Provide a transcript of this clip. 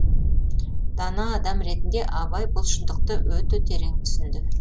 дана адам ретінде абай бұл шындықты өте терең түсінді